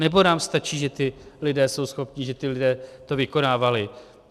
Nebo nám stačí, že ti lidé jsou schopni, že ti lidé to vykonávali?